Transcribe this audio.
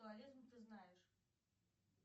ты знаешь